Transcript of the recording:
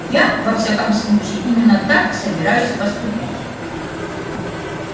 я во всяком случае именно так и собираюсь поступить